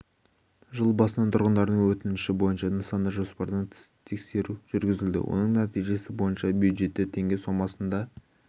жыл басынан тұрғындардың өтініші бойынша нысанда жоспардан тыс тексеру жүргізілді оның нәтижесі бойынша бюджетке теңге сомасында